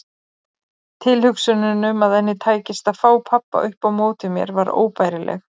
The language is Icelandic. Tilhugsunin um að henni tækist að fá pabba upp á móti mér var óbærileg.